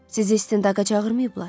Sizi istintaqa çağırmayıblar?